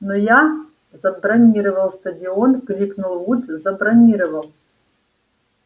но я забронировал стадион крикнул вуд забронировал